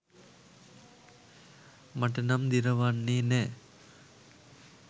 මට නම් දිරවන්නේ නෑ.